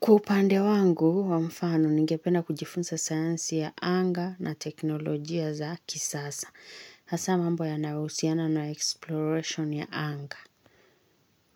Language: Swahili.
Kwa upande wangu, kwa mfano ningependa kujifunza sayansi ya anga na teknolojia za kisasa. Hasa mambo yanayohusiana na exploration ya anga.